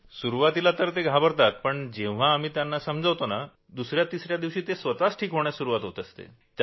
सुरूवातीला तर ते घाबरतातपण जेव्हा आम्ही त्यांना समजावतो तेव्हा दुसऱ्या तिसऱ्या दिवशी त्यांना स्वतःलाच बरं वाटायला लागतं